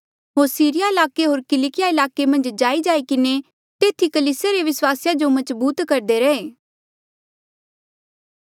होर सीरिया ईलाके होर किलकिया ईलाके मन्झ जाईजाई किन्हें तेथी कलीसिया रे विस्वासिया जो मजबूत करदे रहे